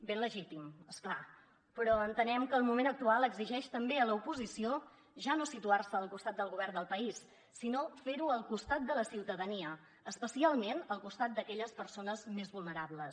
ben legítim és clar però entenem que el moment actual exigeix també a l’oposició ja no situar se al costat del govern del país sinó fer ho al costat de la ciutadania especialment al costat d’aquelles persones més vulnerables